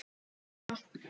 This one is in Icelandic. Ég er ekki ein þeirra.